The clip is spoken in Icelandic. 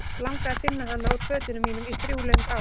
Langaði að finna hana úr fötunum mínum í þrjú löng ár.